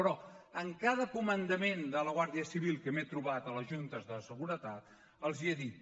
però a cada comandament de la guàrdia civil que m’he trobat a les juntes de seguretat l’hi he dit